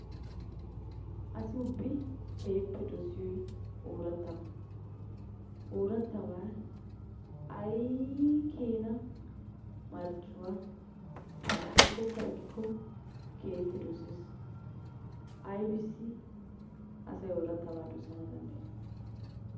Asi ubbi keehippe dosiyoy oorattabba, oorattaba ayii keena marccuwaa al'ikkokka ekikokka keehippe dosses. Aybissi asay oorattaba dossana dandayidde?